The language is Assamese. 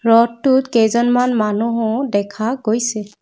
ৰথটোত কেইজনমান মানুহো দেখা গৈছে।